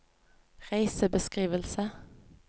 reisebeskrivelse